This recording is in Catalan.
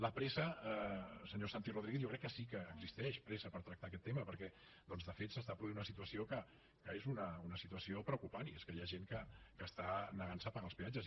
la pressa senyor santi rodríguez jo crec que sí que existeix pressa per tractar aquest tema perquè doncs de fet s’està produint una situació que és una situació preocupant i és que hi ha gent que està negant se a pagar els peatges